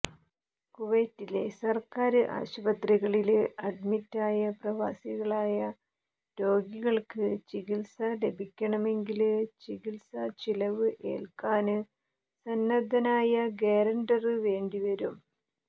കുവൈറ്റിലെ സര്ക്കാര് ആശുപത്രികളില് അഡ്മിറ്റായ പ്രവാസികളായ രോഗികള്ക്ക് ചികിത്സ ലഭിക്കണമെങ്കില് ചികിത്സാ ചിലവ് ഏല്ക്കാന് സന്നദ്ധനായ ഗ്യാരണ്ടര് വേണ്ടി വരും